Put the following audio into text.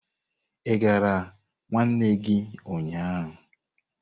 Ị gara nwanne gị ụnyahụ.